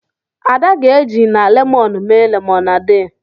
Ada ga-eji na lemọnụ mee lemonade.